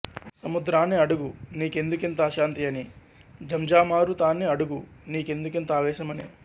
సముద్రాన్ని అడుగు నీ కెందుకింత అశాంతి అని ఝంఝామారుతాన్ని అడుగు నీకుందుకింత ఆవేశం అని